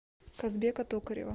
казбека токарева